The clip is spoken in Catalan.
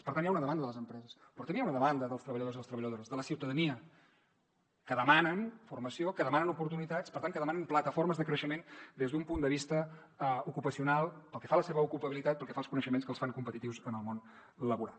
per tant hi ha una demanda de les empreses però també hi ha una demanda dels treballadors i les treballadores de la ciutadania que demanen formació que demanen oportunitats per tant que demanen plataformes de creixement des d’un punt de vista ocupacional pel que fa a la seva ocupabilitat pel que fa als coneixements que els fan competitius en el món laboral